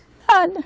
Nada.